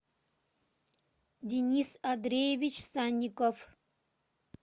денис андреевич санников